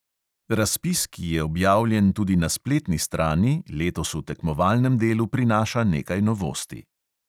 Razpis, ki je objavljen tudi na spletni strani, letos v tekmovalnem delu prinaša nekaj novosti.